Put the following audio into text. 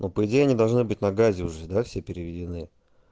но по идее они должны быть на газе уже да все переведены